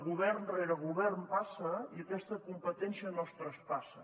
govern rere govern passa i aquesta com·petència no es traspassa